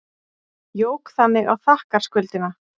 Jók þannig á þakkarskuldina.